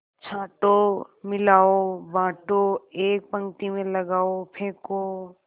छाँटो मिलाओ बाँटो एक पंक्ति में लगाओ फेंको